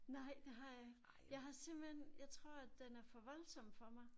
Nej det har jeg ikke. Jeg har simpelthen jeg tror at den er for voldsom for mig